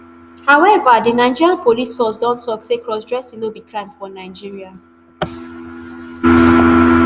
however di nigeria police force don tok say crossdressing no be crime for nigeria